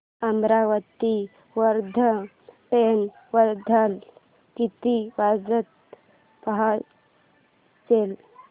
Amravati Wardha train वर्ध्याला किती वाजता पोहचेल